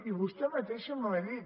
i vostè mateixa m’ho ha dit